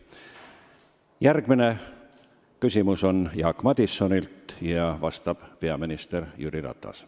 Järgmine küsimus on Jaak Madisonilt ja vastab peaminister Jüri Ratas.